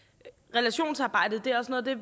relationsarbejdet er også noget af